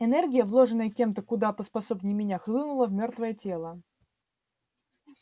энергия вложенная кем-то куда поспособнее меня хлынула в мёртвое тело